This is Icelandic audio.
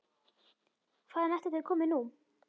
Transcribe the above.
Hvaðan ætli þau komi nú?